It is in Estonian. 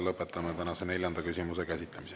Lõpetame tänase neljanda küsimuse käsitlemise.